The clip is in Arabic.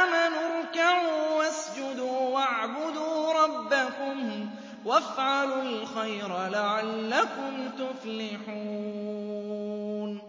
آمَنُوا ارْكَعُوا وَاسْجُدُوا وَاعْبُدُوا رَبَّكُمْ وَافْعَلُوا الْخَيْرَ لَعَلَّكُمْ تُفْلِحُونَ ۩